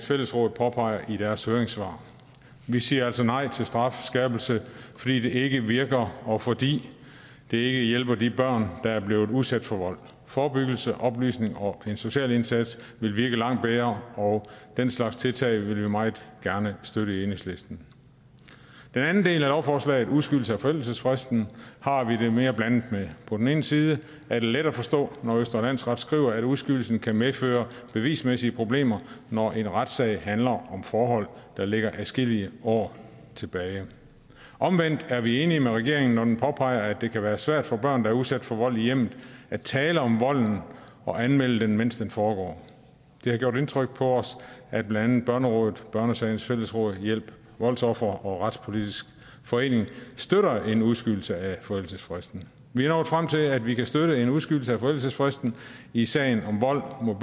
fællesråd påpeger i deres høringssvar vi siger altså nej til strafskærpelsen fordi det ikke virker og fordi det ikke hjælper de børn der er blevet udsat for vold forebyggelse oplysning og en social indsats vil virke langt bedre og den slags tiltag vil vi meget gerne støtte i enhedslisten den anden del af lovforslaget om udskydelse af forældelsesfristen har vi det mere blandet med på den ene side er det let at forstå når østre landsret skriver at udskydelsen kan medføre bevismæssige problemer når en retssag handler om forhold der ligger adskillige år tilbage omvendt er vi enige med regeringen når den påpeger at det kan være svært for børn der er udsat for vold i hjemmet at tale om volden og anmelde den mens den foregår det har gjort indtryk på os at blandt andet børnerådet børnesagens fællesråd hjælp voldsofre og retspolitisk forening støtter en udskydelse af forældelsesfristen vi er nået frem til at vi kan støtte en udskydelse af forældelsesfristen i sager om vold mod